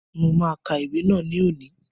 Mo ma ka ìwé náà ni òní.